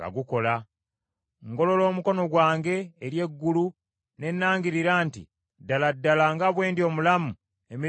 Ngolola omukono gwange eri eggulu ne nangirira nti, ddala ddala nga bwe ndi omulamu emirembe gyonna